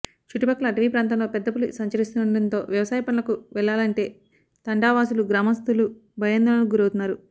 చుట్టుపక్కల అటవీ ప్రాంతంలో పెద్దపులి సంచరిస్తుండడంతో వ్యవసాయ పనులకు వెళ్లాలంటే తండావాసులు గ్రామస్తులు భయాందోళనకు గురవుతున్నారు